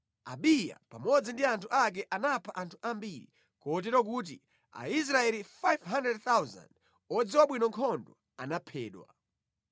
Abiya pamodzi ndi anthu ake anapha anthu ambiri, kotero kuti Aisraeli 500,000 odziwa bwino nkhondo anaphedwa.